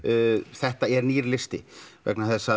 þetta er nýr listi vegna þess að